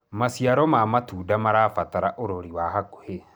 maciaro ma matunda marabatara urori wa hakuhi